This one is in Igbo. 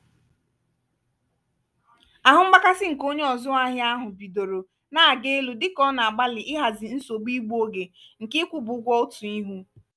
ahụ mgbakasị nke onye ọzụahịa ahụ bidoro na-aga elu dịka ọ nọ na-agbalị ịhazi nsogbu igbu ógè nke ikwụba ụgwọ otu ihu.